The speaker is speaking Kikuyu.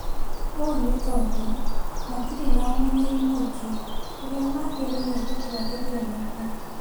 ũ nĩ tondũ matirĩ ma umenyeri mũingĩ ũria magĩrĩire gũtwarithia naguo.